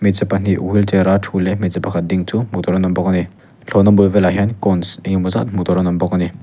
hmeichhe pahnih wheel chair a thu leh hmeichhe pakhat ding chu hmuh tur an awm bawk a ni thlawhna bul velah hian cones engemaw zat hmu tur an awm bawk a ni.